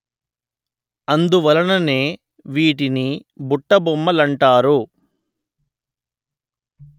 అందువలననే వీటిని బుట్టబొమ్మలంటారు